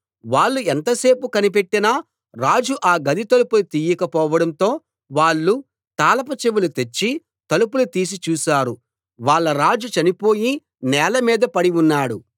వాళ్ళు ఎంతసేపు కనిపెట్టినా రాజు ఆ గది తలుపులు తీయకపోవడంతో వాళ్ళు తాళపు చెవి తెచ్చి తలుపులు తీసి చూశారు వాళ్ళ రాజు చనిపోయి నేలమీద పడి ఉన్నాడు